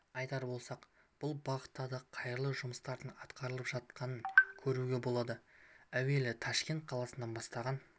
айтар болсақ бұл бағытта да қайырлы жұмыстардың атқарылып жатқанын көруге болады әуелі ташкент қаласы бастаған